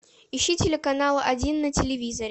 ищи телеканал один на телевизоре